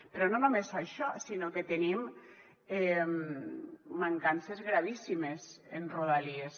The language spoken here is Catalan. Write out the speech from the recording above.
però no només això sinó que tenim mancances gravíssimes en rodalies